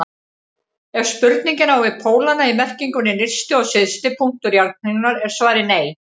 Ef spurningin á við pólana í merkingunni nyrsti og syðsti punktur jarðkringlunnar er svarið nei.